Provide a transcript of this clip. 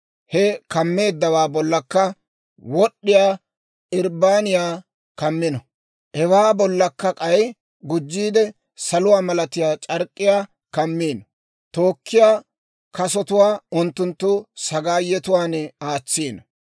He kammeeddawaa bollakka wod'iyaa irbbaaniyaa kammino; hewaa bollakka k'ay gujjiide, saluwaa malatiyaa c'ark'k'iyaa kammino; tookkiyaa kasotuwaa unttunttu sagaayetuwaan aatsino.